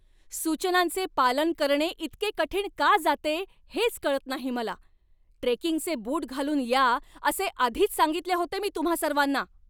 सूचनांचे पालन करणे इतके कठीण का जाते हेच कळत नाही मला. ट्रेकिंगचे बूट घालून या असे आधीच सांगितले होते मी तुम्हां सर्वांना.